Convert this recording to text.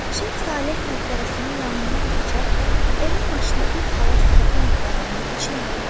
Şeyx Saleh məqbərəsinin yanından keçərkən onun başına bir palaz atıb məqbərənin içinə gətirdilər.